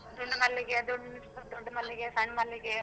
ದುಂಡು ಮಲ್ಲಿಗೆ, ದುಂಡ್~ ದುಂಡು ಮಲ್ಲಿಗೆ, ಸಣ್ ಮಲ್ಲಿಗೆ.